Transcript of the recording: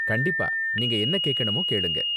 கண்டிப்பா, நீங்க என்ன கேக்கணுமோ கேளுங்க.